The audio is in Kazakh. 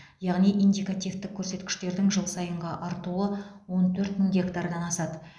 яғни индикативтік көрсеткіштердің жыл сайынғы артуы он төрт мың гектардан асады